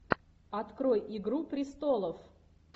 открой игру престолов